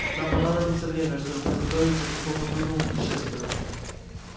нам понадобится время чтобы подготовиться к такому трудному путешествию